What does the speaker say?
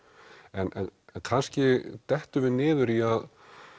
en kannski dettum við niður í að